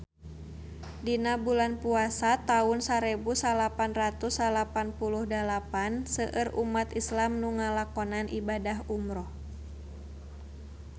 Dina bulan Puasa taun sarebu salapan ratus salapan puluh dalapan seueur umat islam nu ngalakonan ibadah umrah